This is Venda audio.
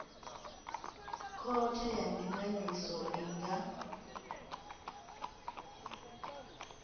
khothe ya ndinganyiso i nga